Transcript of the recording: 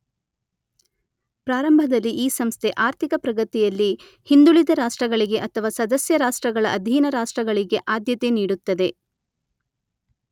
ಪ್ರಾರಂಭದಲ್ಲಿ ಈ ಸಂಸ್ಥೆ ಆರ್ಥಿಕ ಪ್ರಗತಿಯಲ್ಲಿ ಹಿಂದುಳಿದ ರಾಷ್ಟ್ರಗಳಿಗೆ ಅಥವಾ ಸದಸ್ಯರಾಷ್ಟ್ರಗಳ ಅಧೀನ ರಾಷ್ಟ್ರಗಳಿಗೆ ಆದ್ಯತೆ ನೀಡುತ್ತದೆ.